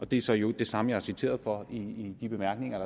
det er så i øvrigt det samme jeg er citeret for i de bemærkninger